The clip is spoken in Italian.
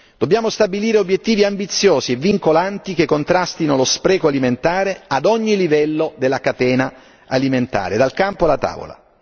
Dobbiamo stabilire obiettivi ambiziosi e vincolanti che contrastino lo spreco alimentare ad ogni livello della catena alimentare, dal campo alla tavola.